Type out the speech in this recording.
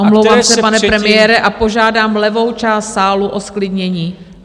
Omlouvám se, pane premiére, a požádám levou část sálu o zklidnění.